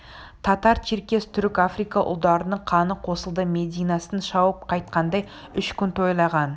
татар черкес түрік африка ұлдарының қаны қосылды мединасын шауып қайтқандай үш күн тойлаған